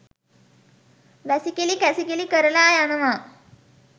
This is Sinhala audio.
වැසිකිළි කැසිකිළි කරලා යනවා.